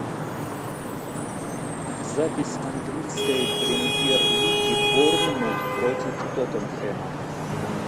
запись английской премьер лиги борнмут против тоттенхэма